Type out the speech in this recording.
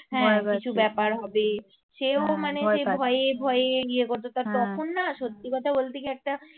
হ্যাঁ কিছু ব্যাপার হবে. সেও মানে যে ভয়ে ভয়ে ইয়ে করতো তখন না সত্যি কথা বলতে কি একটা